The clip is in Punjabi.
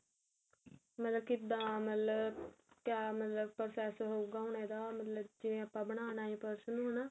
ਮਤਲਬ ਕਿੱਦਾ ਮਤਲਬ ਕਿਆ ਮਤਲਬ process ਹੋਊਗਾ ਜਿਵੇਂ ਆਪਾਂ ਬਣਾਉਣਾ purse ਨੂੰ ਹਨਾ